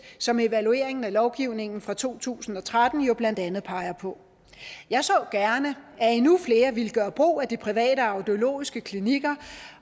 som evalueringen af lovgivningen fra to tusind og tretten jo blandt andet peger på jeg så gerne at endnu flere ville gøre brug af de private audiologiske klinikker